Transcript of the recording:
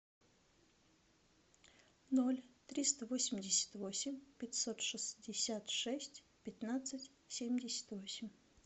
ноль триста восемьдесят восемь пятьсот шестьдесят шесть пятнадцать семьдесят восемь